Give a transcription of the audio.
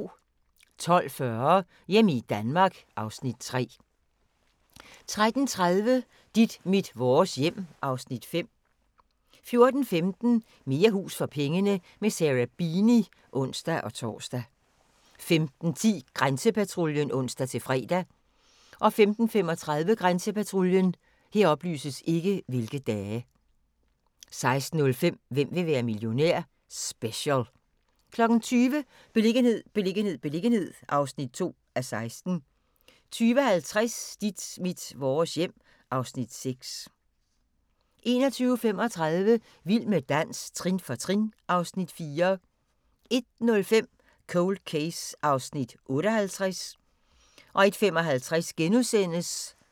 12:40: Hjemme i Danmark (Afs. 3) 13:30: Dit mit vores hjem (Afs. 5) 14:15: Mere hus for pengene – med Sarah Beeny (ons-tor) 15:10: Grænsepatruljen (ons-fre) 15:35: Grænsepatruljen 16:05: Hvem vil være millionær? Special 20:00: Beliggenhed, beliggenhed, beliggenhed (2:16) 20:50: Dit mit vores hjem (Afs. 6) 21:35: Vild med dans – trin for trin (Afs. 4) 01:05: Cold Case (58:156)